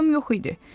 Vaxtım yox idi.